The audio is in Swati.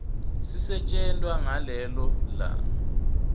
sisetjentwa ngalelo langa